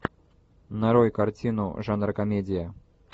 нарой картину жанра комедия